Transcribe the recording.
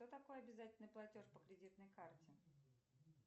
что такое обязательный платеж по кредитной карте